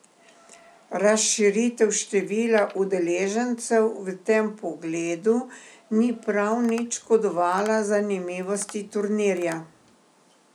Razširitev števila udeležencev v tem pogledu ni prav nič škodovala zanimivosti turnirja.